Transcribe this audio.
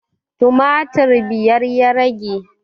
Tumatir biyar ya rage